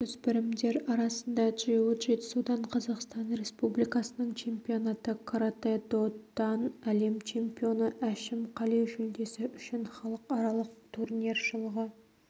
жасөспірімдер арасында джиу-джитсудан қазақстан республикасының чемпионаты каратэ-до-дан әлем чемпионы әшім қали жүлдесі үшін халықаралық турнир жылғы